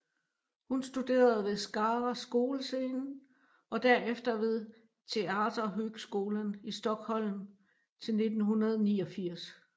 Hun studerede ved Skara Skolscen og derefter ved Teaterhögskolan i Stockholm til 1989